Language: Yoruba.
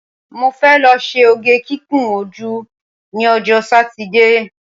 Mo fẹ́ lọ ṣe oge kíkun ojú ní ọjọ́ Sátidé